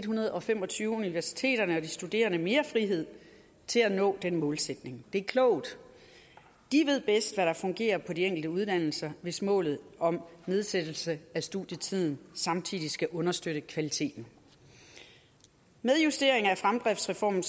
hundrede og fem og tyve universiteterne og de studerende mere frihed til at nå den målsætning det er klogt de ved bedst hvad der fungerer på de enkelte uddannelser hvis målet om nedsættelse af studietiden samtidig skal understøtte kvaliteten med justering af fremdriftsreformen